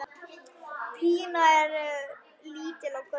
Pína er lítil og grönn.